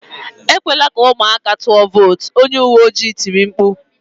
Ekwela ka ụmụaka tụọ vootu"" Onye uwe ojii tiri mkpu